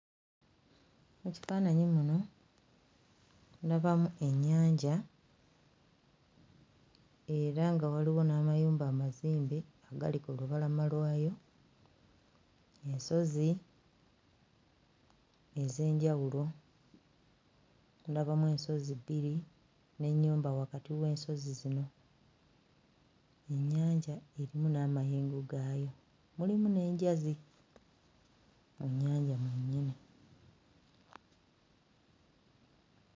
Ekifaananyi muno ndabamu ennyanja era nga waliwo n'amayumba amazimbe agali ku lubalama lwayo, ensozi ez'enjawulo; ndabamu ensozi bbiri n'ennyumba wakati w'ensozi zino. Ennyanja erimu n'amayengo gaayo, mulimu n'enjazi mu nnyanja mwennyini.